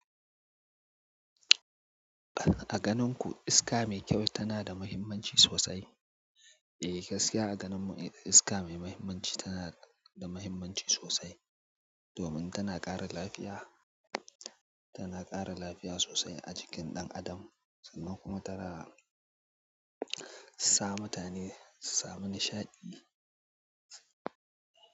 A ganinku iska mai kyau tanada mahimmanci sosai? Eh, gaskiya a ganin mu iska mai muhimmanci tana da muhimmanci sosai domin tana ƙara lafiya, tana ƙara lafiya sosai a jikin ɗan adam sannan kuma tana sa mutane su samu nishaɗi.